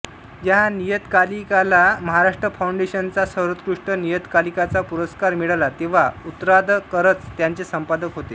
या नियतकालिकाला महाराष्ट्र फाऊंडेशनचा सर्वोत्कृष्ट नियतकालिकाचा पुरस्कार मिळाला तेव्हा उत्रादकरच त्याचे संपादक होते